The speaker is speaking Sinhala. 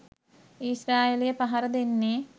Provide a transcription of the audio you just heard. ඊශ්‍රායලය පහර දෙන්නේ?